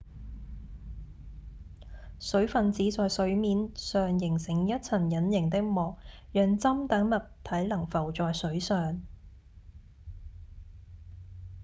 水分子在水面上形成一層隱形的膜讓針等物體能浮在水上